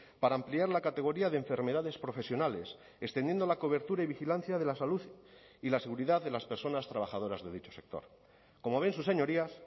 para ampliar la categoría de enfermedades profesionales extendiendo la cobertura y vigilancia de la salud y la seguridad de las personas trabajadoras de dicho sector como ven sus señorías